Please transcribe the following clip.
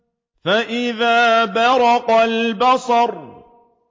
فَإِذَا بَرِقَ الْبَصَرُ